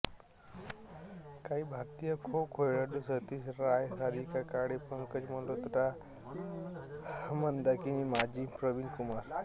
काही भारतीय खो खो खेळाडू सतीश राय सारिका काळे पंकज मल्होत्रा मंदाकिनी माझी प्रवीण कुमार